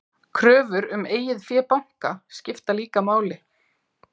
Kröfur um eigið fé banka skipta líka máli.